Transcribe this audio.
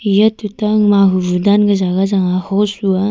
eya tuta mahu bu sab ka jagah chang a hos lu a.